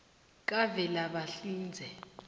kavelabahlinze